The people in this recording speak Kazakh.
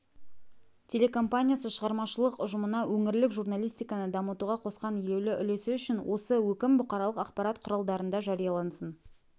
телекомпаниясы шығармашылық ұжымына өңірлік журналистиканы дамытуға қосқан елеулі үлесі үшін осы өкім бұқаралық ақпарат құралдарында жариялансын